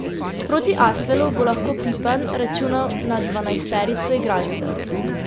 Proti Asvelu bo lahko Pipan računal na dvanajsterico igralcev.